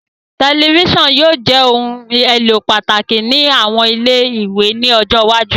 Tẹlifisiọnu yóò jẹ ohun elo pataki ni awọn ile-iwe ni ọjọ iwaju